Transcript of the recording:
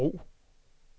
brug